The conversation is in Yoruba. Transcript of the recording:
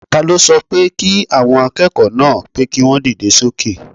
Taló sọ pé kí àwọn akẹ́kọ̀ọ́ náà pé kí wọ́n dìde sókè?